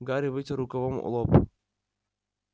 гарри вытер рукавом лоб